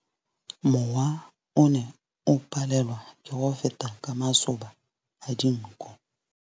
Mowa o ne o palelwa ke go feta ka masoba a dinko.